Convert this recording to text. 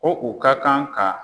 Ko u ka kan ka